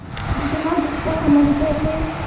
जितना दुष्कर समझते थे